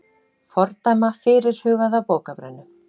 Fordæma fyrirhugaða bókabrennu